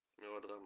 мелодрама